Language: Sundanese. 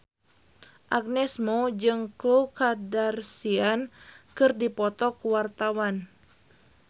Agnes Mo jeung Khloe Kardashian keur dipoto ku wartawan